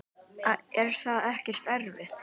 Er það ekkert erfitt?